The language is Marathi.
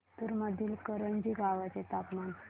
जिंतूर मधील करंजी गावाचे तापमान